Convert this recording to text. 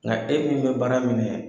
Nka e min bɛ baara minɛ